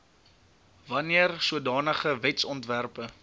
wanneer sodanige wetsontwerpe